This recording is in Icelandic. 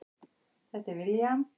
Þetta er William.